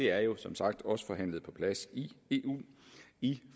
er jo som sagt også forhandlet på plads i eu i